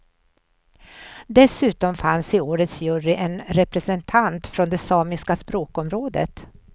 Dessutom fanns i årets jury en representant från det samiska språkområdet.